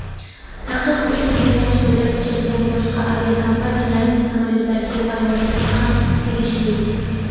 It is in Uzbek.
taqiq ushbu yo‘nalish bo‘ylab uchadigan boshqa aviakompaniyalarning samolyotlariga parvozlarga ham tegishli.